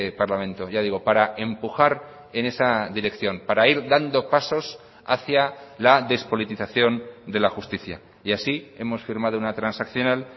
parlamento ya digo para empujar en esa dirección para ir dando pasos hacía la despolitización de la justicia y así hemos firmado una transaccional